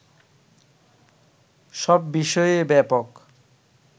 সব বিষয়েই ব্যাপক